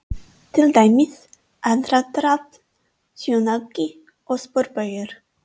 Til dæmis: aðdráttarafl, sjónauki og sporbaugur.